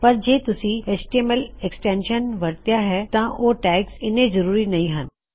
ਪਰ ਜੇ ਤੁਸੀ ਐਚਟੀਐਮਐਲ ਐੱਕਸਟੈਂਸ਼ਨ ਵਰਤਿਆ ਹੈ ਤਾਂ ਓਹ ਟੈਗਜ਼ ਇੱਨੇ ਜਰੂਰੀ ਨਹੀ ਹੱਨ